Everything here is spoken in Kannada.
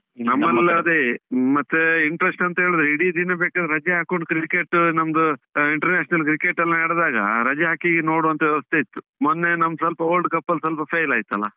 ನಮ್ಮಲ್ಲಿ ಅದೇ ಮತ್ತೆ interest ಅಂತ ಹೇಳಿದ್ರೆ ಇಡಿ ದಿನ ಬೇಕಾದ್ರೆ ರಜೆ ಹಾಕೊಂಡು cricket ನಮ್ದು, ಆ international cricket ಎಲ್ಲ ಆಗುವಾಗ, ರಜೆ ಹಾಕಿ ನೋಡುವಂತಾ ವ್ಯವಸ್ಥೆ ಇತ್ತು. ಮೊನ್ನೆ ನಮ್ಮ್ world cup ಅಲ್ಲಿ ಸ್ವಲ್ಪ fail ಆಯ್ತಲ್ಲಾ.